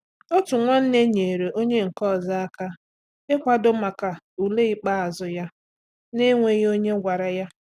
Otu nwanne nyeere onye nke ọzọ aka ịkwado maka ule ikpeazụ ya na-enweghị onye gwara ya.